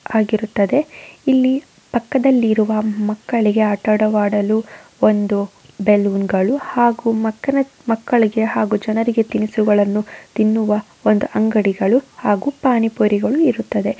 ಆಗಿರುತ್ತದೆ. ಇಲ್ಲಿ ಪಕ್ಕದಲ್ಲಿ ಇರುವ ಮಕ್ಕಳಿಗೆ ಆಟ ಆಡಲು ಒಂದು ಬಲೂನ್ ಗಳು ಹಾಗು ಮಕನ್ಕ ಮಕ್ಕಳಿಗೆ ಹಾಗು ಜನರಿಗೆ ತಿನಿಸುಗಳನ್ನು ತಿನ್ನುವ ಒಂದು ಅಂಗಡಿಗಳು ಹಾಗು ಪಾನಿಪುರಿಗಳು ಇರುತ್ತದೆ.